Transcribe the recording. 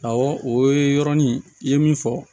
Awɔ o ye yɔrɔnin i ye min fɔ